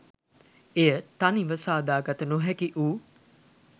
එය තනිව සාදා ගත නොහැකිවූ